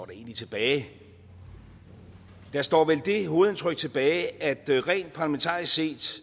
egentlig tilbage der står vel det hovedindtryk tilbage at rent parlamentarisk set